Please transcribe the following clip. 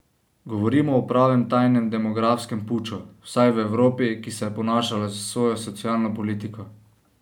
Govorimo o pravem tajnem demografskem puču, vsaj v Evropi, ki se je ponašala s svojo socialno politiko.